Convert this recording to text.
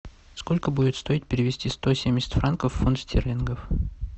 сколько будет стоить перевести сто семьдесят франков в фунт стерлингов